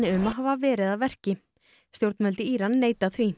um að hafa verið að verki stjórnvöld í Íran neita því